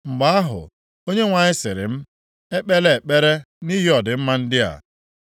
Mgbe ahụ, Onyenwe anyị sịrị m, “Ekpela ekpere nʼihi ọdịmma ndị a.